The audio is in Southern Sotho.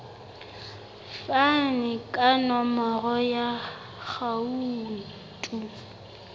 fane ka nomoro ya akhauntu